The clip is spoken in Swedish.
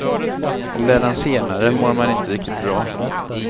Om det är den senare mår man inte riktigt bra.